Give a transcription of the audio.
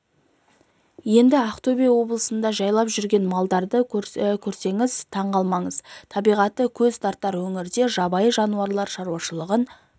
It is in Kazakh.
енді ақтөбе облысында жайлып жүрген маралдарды көрсеңіз таң қалмаңыз табиғаты көз тартар өңірде жабайы жануарлар шаруашылығын